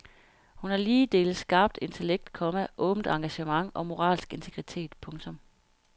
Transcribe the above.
Hun har lige dele skarpt intellekt, komma åbent engagement og moralsk integritet. punktum